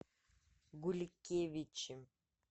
гулькевичи